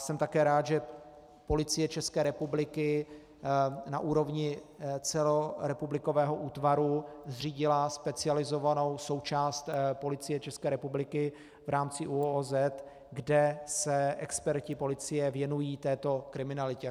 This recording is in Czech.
Jsem také rád, že Policie České republiky na úrovni celorepublikového útvaru zřídila specializovanou součást Policie České republiky v rámci ÚOHS, kde se experti policie věnují této kriminalitě.